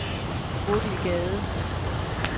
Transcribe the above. Bodil Gade